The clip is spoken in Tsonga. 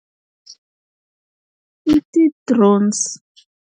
I ti-drones.